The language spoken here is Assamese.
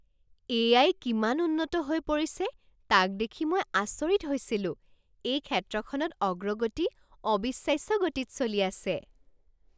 এ.আই. কিমান উন্নত হৈ পৰিছে তাক দেখি মই আচৰিত হৈছিলো। এই ক্ষেত্ৰখনত অগ্ৰগতি অবিশ্বাস্য গতিত চলি আছে।